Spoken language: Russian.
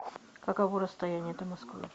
каково расстояние до москвы